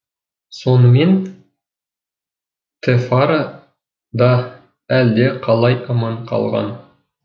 сонымен тэфара да әлде қалай аман қалған